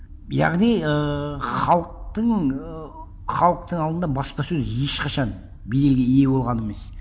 яғни ыыы халықтың ыыы халықтың алдында баспасөз ешқашан беделге ие болған емес